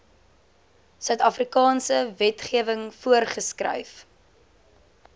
suidafrikaanse wetgewing voorgeskryf